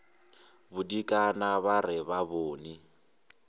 bodikana ba re ba bone